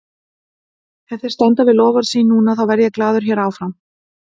Ef þeir standa við loforð sín núna, þá verð ég glaður hér áfram.